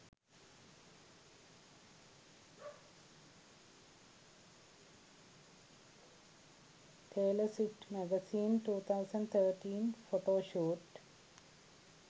taylor swift magazine 2013 photo shoot